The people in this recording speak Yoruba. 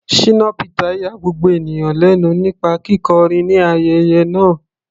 Shina Peter ya gbogbo ènìyàn lẹ́nu nípa kíkọrin ní ayẹyẹ náà.